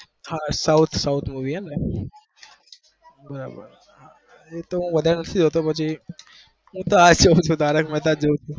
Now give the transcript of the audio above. હા south movie